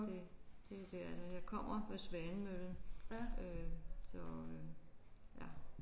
Det det det er der. Jeg kommer ved Svanemøllen øh så øh ja